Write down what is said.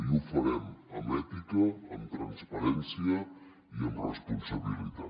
i ho farem amb ètica amb transparència i amb responsabilitat